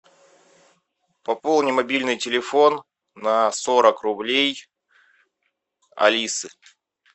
пополни мобильный телефон на сорок рублей алисы